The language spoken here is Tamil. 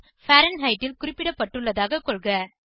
பாரன்ஹெய்ட் ல் குறிப்பிடப்பட்டுள்ளதாக கொள்க